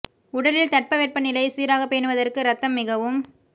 உடலின் தட்பவெப்ப நிலையை சீராக பேணுவதற்கு ரத்தம் மிகவும்